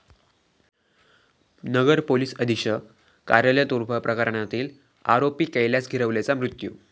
नगर police अधीक्षक कार्यालय तोडफोड प्रकरणातील आरोपी कैलास गिरवलेचा मृत्यू